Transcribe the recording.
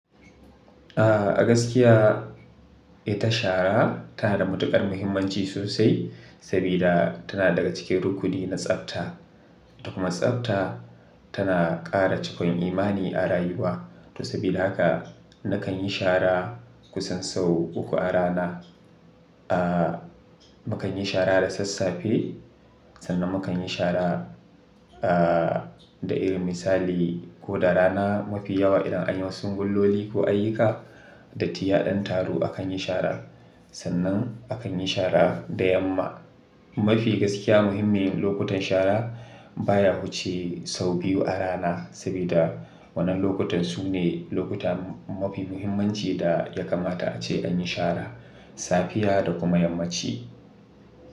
Ah, gaskiya ita shara tana da matuƙar muhimmanci sosai sabida ta na daga cikin rukuni na tsafta da kuma tsafta tana ƙara cikakan imani a rayuwa. To sabida haka nakan yi shara kusan sau uku a rana. Ah, mukan yi shara da sassafe, sannan mukan yi shara ah, da irin misali ko da rana mafi yawa idan anyi wasu sungulloli ko ayyuka datti yaɗan taro akan yi shara. Sannan akan yi shara da yamma. Mafi gaskiya muhimmin lokutan shara baya huce sau biyu a rana sabida wannan lokutan su ne lokuta mafi muhimmanci da ya kamata ace an yi shara safiya da kuma yammaci.